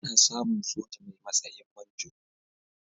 Ana samun soja mai matsayin manjo.